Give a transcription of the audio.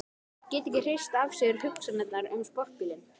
Getur ekki hrist af sér hugsanirnar um sportbílinn.